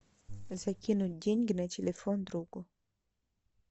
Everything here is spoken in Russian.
закинуть деньги на телефон другу